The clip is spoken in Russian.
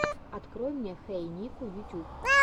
открой мне хэй нико ютуб